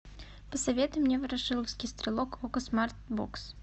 посоветуй мне ворошиловский стрелок окко смарт бокс